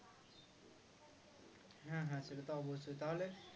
হ্যাঁ হ্যাঁ সেটা তো অবশ্যই তাহলে